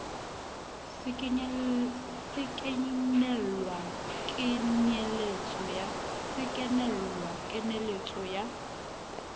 se kenella ho kenyeletso ya